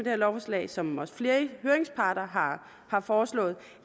her lovforslag som også flere høringsparter har har foreslået